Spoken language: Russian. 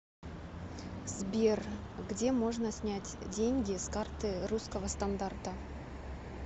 сбер где можно снять деньги с карты русского стандарта